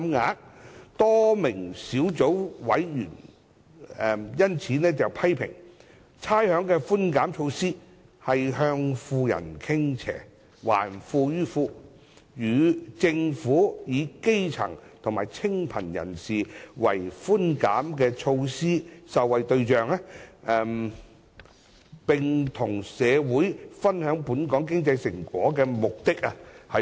因此，多名小組委員批評差餉寬減措施向富人傾斜、"還富於富"，違背政府以基層和清貧人士為寬減措施受惠對象及與社會分享本港經濟成果的目的。